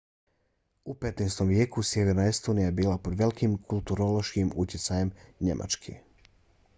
u 15. vijeku sjeverna estonija je bila pod velikim kulturološkim utjecajem njemačke